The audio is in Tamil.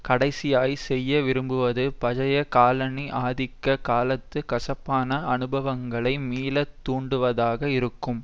கடைசியாய் செய்ய விரும்புவது பழைய காலனி ஆதிக்க காலத்து கசப்பான அனுபவங்களை மீள தூண்டுவதாக இருக்கும்